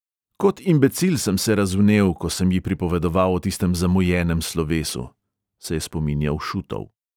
"Kot imbecil sem se razvnel, ko sem ji pripovedoval o tistem zamujenem slovesu ..." se je spominjal šutov.